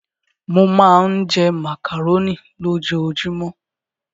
Mo máa ń jẹ màkàróní lójoojúmọ́.